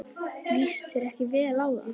Líst þér ekki vel á það?